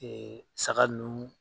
saga nuuun